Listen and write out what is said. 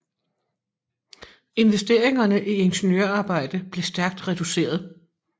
Investeringerne i ingeniørarbejder blev stærkt reduceret